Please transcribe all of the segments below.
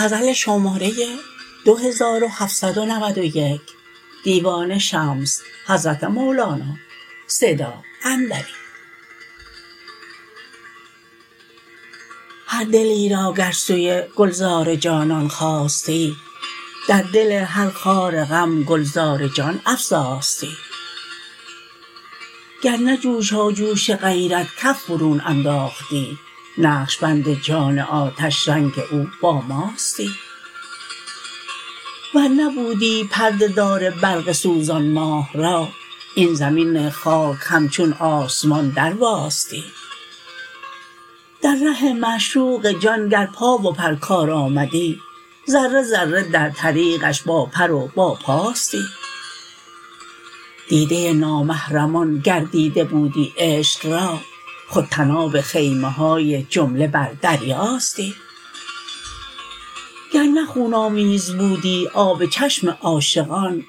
هر دلی را گر سوی گلزار جانان خاستی در دل هر خار غم گلزار جان افزاستی گر نه جوشاجوش غیرت کف برون انداختی نقش بند جان آتش رنگ او با ماستی ور نبودی پرده دار برق سوزان ماه را این زمین خاک همچون آسمان درواستی در ره معشوق جان گر پا و پر کار آمدی ذره ذره در طریقش باپر و باپاستی دیده نامحرمان گردیده بودی عشق را خود طناب خیمه های جمله بر دریاستی گر نه خون آمیز بودی آب چشم عاشقان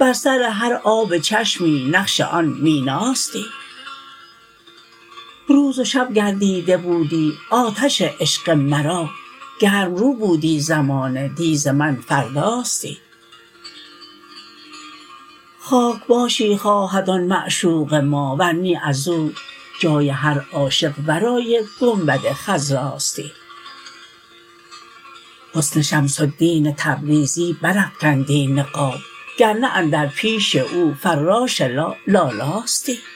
بر سر هر آب چشمی نقش آن میناستی روز و شب گر دیده بودی آتش عشق مرا گرم رو بودی زمانه دی ز من فرداستی خاک باشی خواهد آن معشوق ما ور نی از او جای هر عاشق ورای گنبد خضراستی حسن شمس الدین تبریزی برافکندی نقاب گر نه اندر پیش او فراش لا لالاستی